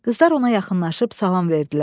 Qızlar ona yaxınlaşıb salam verdilər.